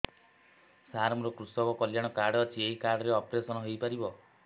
ସାର ମୋର କୃଷକ କଲ୍ୟାଣ କାର୍ଡ ଅଛି ଏହି କାର୍ଡ ରେ ଅପେରସନ ହେଇପାରିବ